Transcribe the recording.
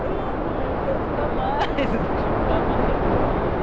Não, mãe, eu quero ficar mais, deixa eu ficar mais aqui.